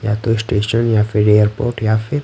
या तो स्टेशन या फिर एयरपोर्ट या फिर--